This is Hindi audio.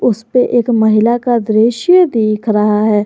उसपे एक महिला का दृश्य दिख रहा है।